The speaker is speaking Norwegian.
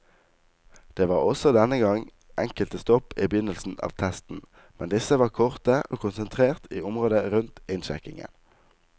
Det var også denne gang enkelte stopp i begynnelsen av testen, men disse var korte og konsentrert i området rundt innsjekkingen.